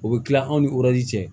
O bɛ kila anw ni cɛ